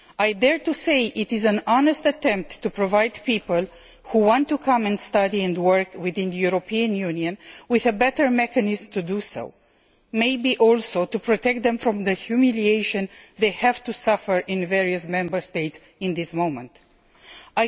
I dare to say that it is an honest attempt to provide people who want to come and study and work within the European Union with a better mechanism to do so, and also maybe to protect them from the humiliation they have to suffer in various Member States at present.